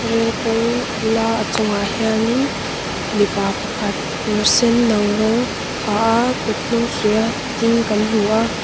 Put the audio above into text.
rail kawng bula a chungah hianin mipa pakhat kawr senno rawng ha a kuthnung suiha ding kan hmuh a.